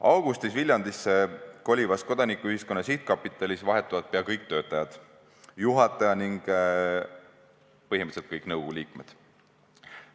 Augustis Viljandisse kolivas Kodanikuühiskonna Sihtkapitalis vahetuvad pea kõik töötajad, juhataja ning põhimõtteliselt kõik nõukogu liikmed.